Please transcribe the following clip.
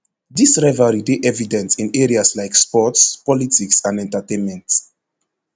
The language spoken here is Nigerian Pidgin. dis rivalry dey evident in areas like sports politics and entertainment